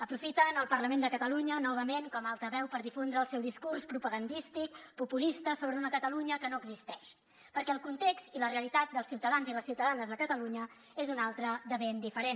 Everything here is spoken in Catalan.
aprofiten el parlament de catalunya novament com a altaveu per difondre el seu discurs propagandístic populista sobre una catalunya que no existeix perquè el context i la realitat dels ciutadans i les ciutadanes de catalunya és un altre de ben diferent